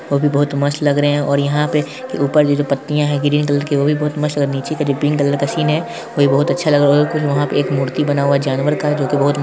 वह भी बहुत मस्त लग रहे हैं और यहां पे ऊपर ये जो पत्तियां है ग्रीन कलर कि वह भी बहुत मस्त लग रही हैऔर निचे का जो पिंक कलर का सीन है वो भी बहुत अच्छा लग रहा है और कोई वहां पर एक मूर्ति बना हुआ है जानवर का जो के बहुत--